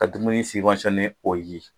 Ka dumuni o ye.